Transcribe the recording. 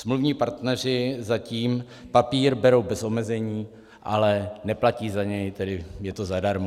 Smluvní partneři zatím papír berou bez omezení, ale neplatí za něj, tedy je to zadarmo.